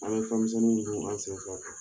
An mi fɛnmisɛnnu dun an sen fɛ.